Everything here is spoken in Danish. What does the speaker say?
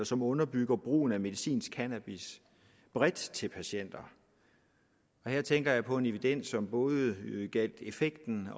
som underbyggede brugen af medicinsk cannabis bredt til patienter og her tænker jeg på en evidens som både gjaldt effekten